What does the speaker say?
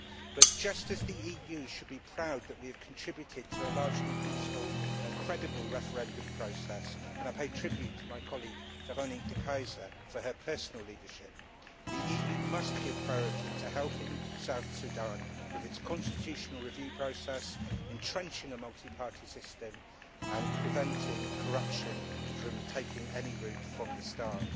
But, just as the EU should be proud that we have contributed to a largely peaceful and credible referendum process and I pay tribute to my colleague, Veronique De Keyser, for her personal leadership the EU must give priority to helping South Sudan with its constitutional review process, entrenching a multi party system and preventing corruption from taking any root from the start.